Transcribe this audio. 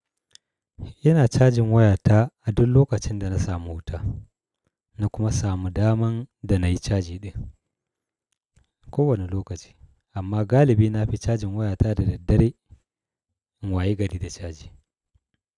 Ina cajin wayata a duk lokacin da na samu wuta, na kuma samu damar da nayi caji din ko wanne lokaci. Amma galibi na fi cajin wayata da daddare in wayi gari da caji.